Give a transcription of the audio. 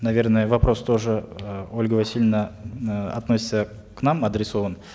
наверное вопрос тоже э ольга васильевна э относится к нам адресован